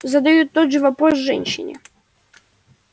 задают тот же вопрос женщине